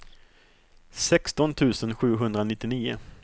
sexton tusen sjuhundranittionio